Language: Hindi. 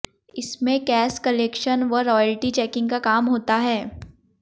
इसमें कैश क्लेक्शन व रॉयल्टी चैकिंग का काम होता है